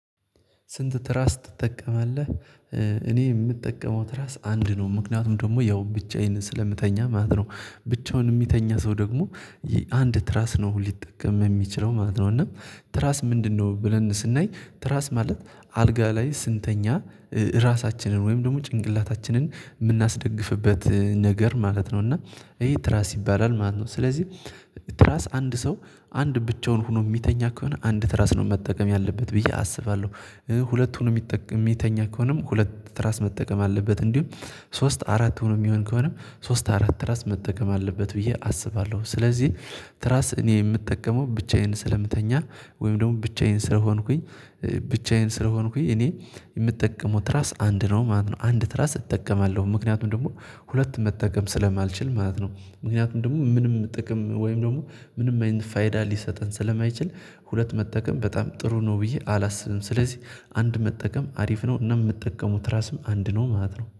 ስንት ትራስ ትጠቀማለህ? እኔ የምጠቀመው ትራስ አንድ ነው ምክንያቱም ደግሞ ያው ብቻዬን ስለምተኛ ማለት ነው። ብቻውን የሚተኛ ሰው ደግሞ አንድ ትራስ ነው ሊጠቀም የሚችለው ማለት ነው። እና ትራስ ምንድነው ብለን ስናይ ትራስ ማለት አልጋ ላይ ስንተኛ ራሳችንን ወይም ደግሞ ጭንቅላታችንን የምናስደግፍበት ነገር ማለት ነው እና ይሄ ትራስ ይባላል ማለት ነው። ስለዚህ ትራስ አንድ ሰው አንድ ብቻውን ሆኖ የሚተኛ ከሆነ አንድ ትራስ ነው መጠቀም ያለበት ብዬ አስባለሁ። ሁለት ሆኖ የሚተኛ ከሆነም ሁለት ትራስ መጠቀም አለበት እንዲሁም ሶስት አራት ሆኖ የሚሆን ከሆነም ሶስት አራት ትራስ መጠቀም አለበት ብዬ አስባለሁ። ስለዚህ ትራስ እኔ የምጠቀመው ብቻዬን ስለምተኛ ወይም ደግሞ ብቻዬን ስለሆንኩኝ ብቻዬን ስለሆንኩኝ እኔ የምጠቀመው ትራስ አንድ ነው ማለት ነው። አንድ ትራስ እጠቀማለሁ ምክንያቱም ደግሞ ሁለት መጠቀም ስለማልችል ማለት ነው። ምክንያቱም ደግሞ ምንም ጥቅም ወይም ደግሞ ምንም አይነት ፋይዳ ሊሰጠን ስለማይችል ሁለት መጠቀም በጣም ጥሩ ነው ብዬ አላስብም። ስለዚህ አንድ መጠቀም አሪፍ ነው እና የምጠቀመው ትራስም አንድ ነው ማለት ነው